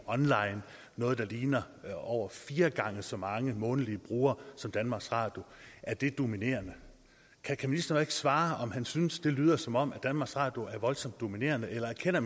online noget der ligner over fire gange så mange månedlige brugere som danmarks radio er det dominerende kan ministeren ikke svare på om han synes det lyder som om danmarks radio er voldsomt dominerende eller erkender